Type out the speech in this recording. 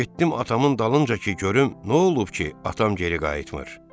Getdim atamın dalınca ki görüm nə olub ki, atam geri qayıtmır.